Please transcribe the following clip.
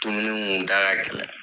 Dumuni kun da ka gɛlɛn